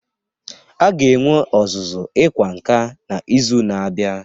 A ga-enwe ọzụzụ ịkwa nka n'izu na-abịa